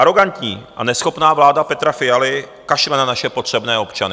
Arogantní a neschopná vláda Petra Fialy kašle na naše potřebné občany.